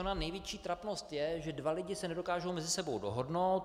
Ona největší trapnost je, že dva lidi se nedokážou mezi sebou dohodnout.